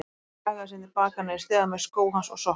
Kjagaði síðan til baka niður stigann með skó hans og sokka.